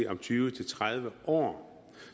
om tyve til tredive år